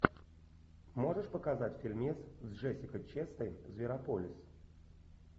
можешь показать фильмец с джессикой честейн зверополис